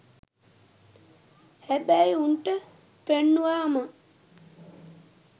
හැබැයි උන්ට පෙන්නුවම